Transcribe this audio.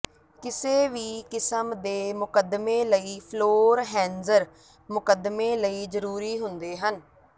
ਕਿਸੇ ਵੀ ਕਿਸਮ ਦੇ ਮੁਕੱਦਮੇ ਲਈ ਫਲੋਰ ਹੈਂਜ਼ਰ ਮੁਕੱਦਮੇ ਲਈ ਜ਼ਰੂਰੀ ਹੁੰਦੇ ਹਨ